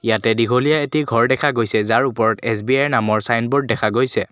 ইয়াতে দীঘলীয়া এটি ঘৰ দেখা গৈছে যাৰ ওপৰত এচ_বি_আই নামৰ ছাইনব'ৰ্ড দেখা গৈছে।